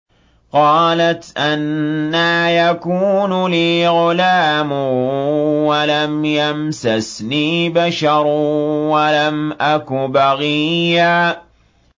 قَالَتْ أَنَّىٰ يَكُونُ لِي غُلَامٌ وَلَمْ يَمْسَسْنِي بَشَرٌ وَلَمْ أَكُ بَغِيًّا